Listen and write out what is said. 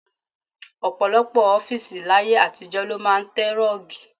Ọ̀pọ̀lọpọ̀ ọ́fíìsì láyé àtijọ́ ló máa ń tẹ rọ́ọ̀gì.